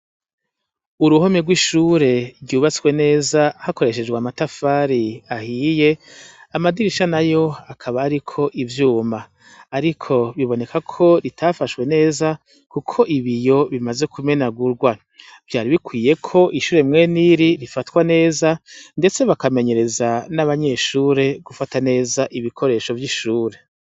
Uruhome rw'ishure ryubatswe neza hakoreshejwe amatafari ahiye amadirisha na yo akaba, ariko ivyuma, ariko biboneka ko ritafashwe neza, kuko ibi yo bimaze kumenagurwa vyari bikwiye ko ishure mwene iri rifatwa neza, ndetse bakamenyereza n'abanyeshure gufata neza ibikoresho vy'ishure.